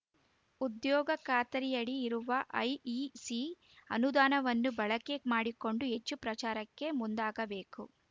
ಉದ್ಯೋಗ ಖಾತರಿಯಡಿ ಇರುವ ಐಇಸಿ ಅನುದಾನವನ್ನು ಬಳಕೆ ಮಾಡಿಕೊಂಡು ಹೆಚ್ಚು ಪ್ರಚಾರಕ್ಕೆ ಮುಂದಾಗಬೇಕು